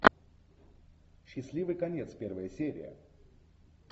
счастливый конец первая серия